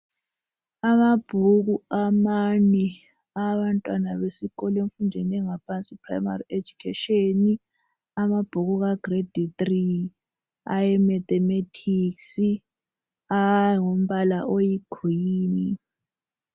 Amabhuku amane awabantwana besikolo emfundweni yangaphansi iprimary education .Amabhuku ka grade 3 ,aye mathematics angumbala oyi green.